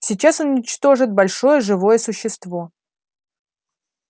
сейчас он уничтожит большое живое существо